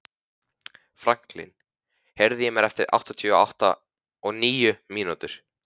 Franklín, heyrðu í mér eftir áttatíu og níu mínútur.